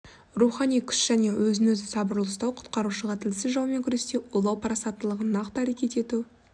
рухани күш және өзін-өзі сабырлы ұстау құтқарушыға тілсіз жаумен күресте ойлау парасаттылығын нақты әрекет ету